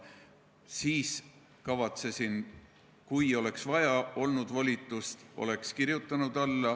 Kui volitust oleks vaja olnud, oleksin alla kirjutanud.